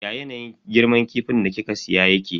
Ya yanayin girman kifin da kika siya yake?